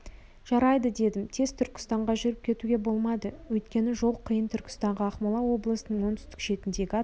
жарайды дедім тез түркістанға жүріп кетуге болмады өйткені жол қиын түркістанға ақмола облысының оңтүстік шетіндегі атақты